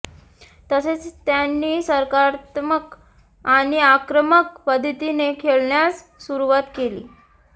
तसेच त्यांनी सकारात्मक आणि आक्रमक पद्धतीने खेळण्यास सुरुवात केली